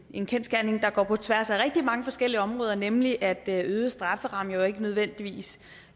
en kendsgerning der går på tværs af rigtig mange forskellige områder nemlig at øgede strafferammer jo ikke nødvendigvis